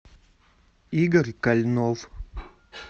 игорь кальнов